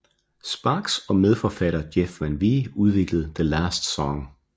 Sparks og medforfatter Jeff Van Wie udviklede The Last Song